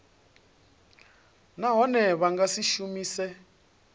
nahone vha nga si shumise